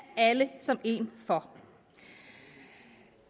alle som en for